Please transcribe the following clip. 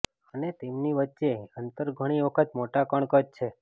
અને તેમની વચ્ચે અંતર ઘણી વખત મોટા કણ કદ છે